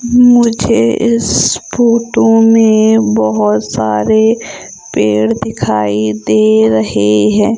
मुझे इस फोटो में बहोत सारे पेड़ दिखाई दे रहे हैं।